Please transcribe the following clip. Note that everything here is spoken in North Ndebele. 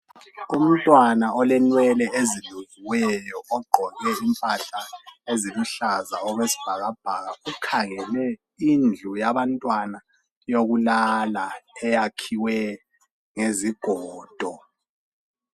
umntwana olenwele ezibotshiweyo ogqoke impahla eziluhlaza okwesibhakabhaka ukhangele indlu yabantwana yokulala eyakhiwe ngezigodo